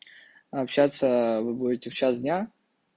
общаться вы будете в час дня